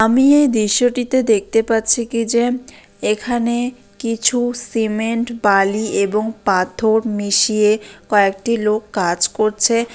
আমি এই দৃশ্যটিতে দেখতে পাচ্ছি কি যে এখানে কিছু সিমেন্ট বালি এবং পাথর মিশিয়ে কয়েকটি লোক কাজ করছে |